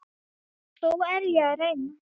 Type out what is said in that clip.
Þó er ég að reyna!